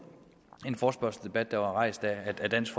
en forespørgselsdebat der var rejst af dansk